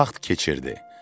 Vaxt keçirdi.